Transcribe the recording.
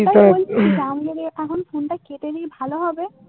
এখন phone টা কেটে নিই ভালো হবে